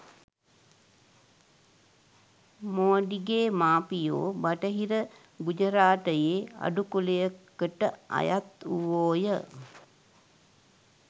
මෝඩිගේ මාපියෝ බටහිර ගුජරාටයේ අඩු කුලයකට අයත් වූවෝය.